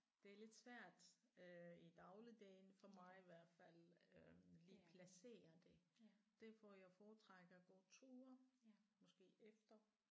Det er lidt svært øh i dagligdagene for mig i hvert fald øh lige placere det. Derfor jeg foretrækker at gå ture måske efter